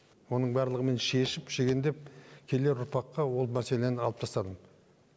оның барлығын мен шешіп шегендеп келер ұрпаққа ол мәселені алып тастадым